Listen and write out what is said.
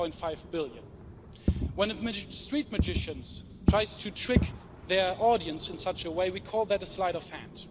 7.5 billion. When street magicians try to trick their audience in such a way, we call that a sleight of hand.